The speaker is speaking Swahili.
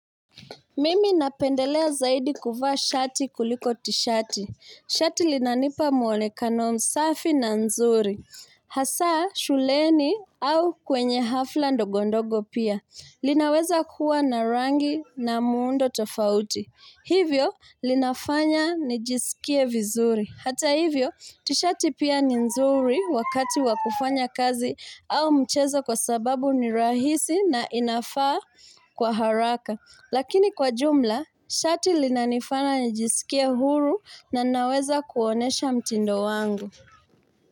Mimi napendelea zaidi kuvaa shati kuliko tishati. Shati linanipa muonekano msafi na nzuri. Hasa, shuleni au kwenye hafla ndogo ndogo pia. Linaweza kuwa na rangi na muundo tofauti. Hivyo, linafanya nijisikie vizuri. Hata hivyo, tishati pia ni nzuri wakati wakufanya kazi au mchezo kwa sababu ni rahisi na inafaa kwa haraka. Lakini kwa jumla, shati lina nifanya nijisikie huru na ninaweza kuonyesha mtindo wangu.